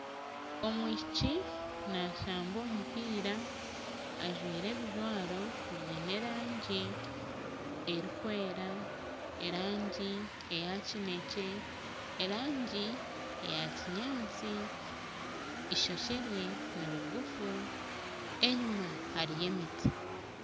Omwishiiki nashamba omumpiira ajwaire ebijwaro byiine erangi erikwera erangi eya kinekye erangi eya kinyaatsi, ishookye rye niriguufu enyuma hariyo emiti.